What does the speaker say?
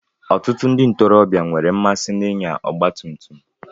Ọtụtụ ndị ntorobịa nwere mmasị ịnya ọgba tum tum.